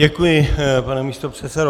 Děkuji, pane místopředsedo.